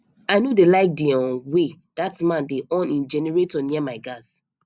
i no dey like the um way dat man dey on um generator near my gas